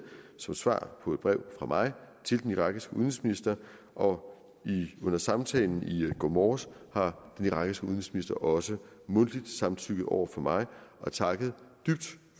som svar på et brev fra mig til den irakiske udenrigsminister og under samtalen i går morges har den irakiske udenrigsminister også mundtligt samtykket over for mig og takket dybt